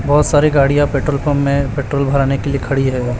बहुत सारे गाड़ियां पेट्रोल पंप में पेट्रोल भराने के लिए खड़ी है।